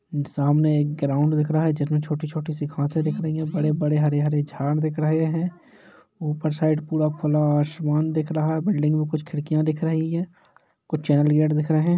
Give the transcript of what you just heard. सामने एक ग्राउंड दिख रहा है जिसमे छोटी-छोटी सी घासे दिख रही है बड़े-बड़े हरे-हरे झाड़ दिख रहे है ऊपर साइड पूरा खुला हुआ आसमान दिख रहा है बिल्डिंग में कुछ खिड़किया दिख रही है कुछ चैनल गेट दिख रहे हैं।